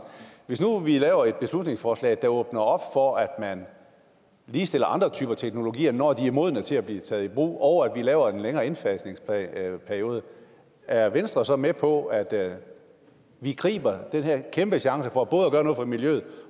hvis nu vi laver et beslutningsforslag der åbner op for at man ligestiller andre typer teknologier når de er modne til at blive taget i brug og at vi laver en længere indfasningsperiode er venstre så med på at vi griber den her kæmpechance for både at gøre noget for miljøet